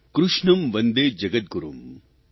કૃષ્ણં વંદે જગદગુરૂમ્